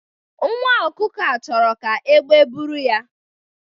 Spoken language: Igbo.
Nwa ọkụkọ a chọrọ ka egbe buru ya